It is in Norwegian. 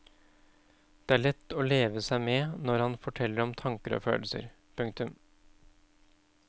Det er lett å leve seg med når han forteller om tanker og følelser. punktum